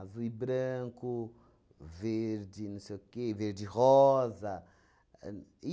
e branco, verde, não sei o quê, verde e rosa. Ahn